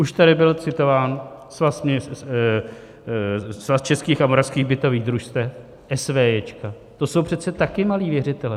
Už tady byl citován Svaz českých a moravských bytových družstev, SVJ, to jsou přece také malí věřitelé.